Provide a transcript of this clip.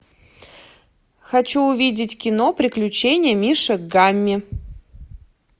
хочу увидеть кино приключения мишек гамми